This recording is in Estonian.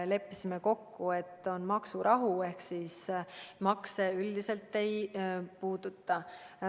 Leppisime kokku, et on maksurahu ehk siis makse üldiselt ei puututa.